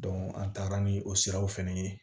an taara ni o siraw fɛnɛ ye